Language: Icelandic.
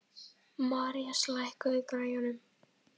Marías, lækkaðu í græjunum.